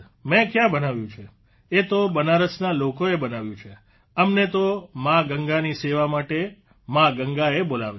મેં કયાં બનાવ્યું છે એ તો બનારસના લોકોએ બનાવ્યું છે અમને તો મા ગંગાની સેવા માટે મા ગંગાએ બોલાવ્યા